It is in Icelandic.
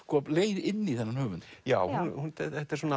leið inn í þennan höfund já þetta er svona